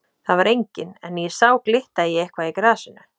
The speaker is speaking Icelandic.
Þar var enginn en ég sá glitta í eitthvað í grasinu.